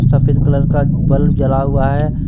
सफेद कलर का बल्ब जला हुआ है।